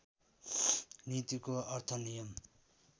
नीतिको अर्थ नियम